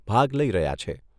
ભાગ લઈ રહ્યા છે.